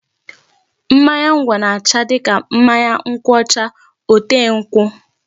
Mmanya ngwọ na-acha dịka mmanya nkwụ ọcha ote nkwụ.